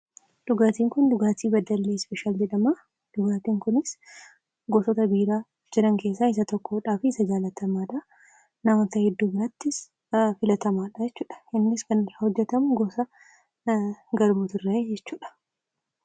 Dhugaatiin Kun dhugaatii Beddellee Ispeeshaal jedhama. Dhugaatiin Kunis gosoota biiraa jiran keessa isa tokkodhaa fi isa jaalatamaadha. Namoota heddu birattis filatamaadha jechudha. Innis kan irraa hojjetamu gosa garbuutirra jechudha.